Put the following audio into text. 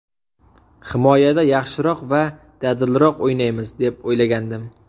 Himoyada yaxshiroq va dadilroq o‘ynaymiz deb o‘ylagandim.